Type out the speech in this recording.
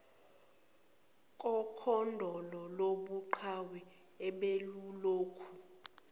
kokhondolo lobuqhawe obelulokhu